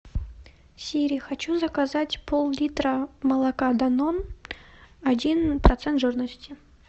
сири хочу заказать пол литра молока данон один процент жирности